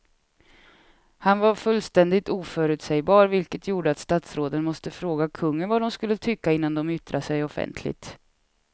Han var fullständigt oförutsägbar vilket gjorde att statsråden måste fråga kungen vad de skulle tycka innan de yttrade sig offentligt.